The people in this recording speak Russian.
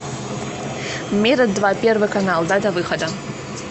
мира два первый канал дата выхода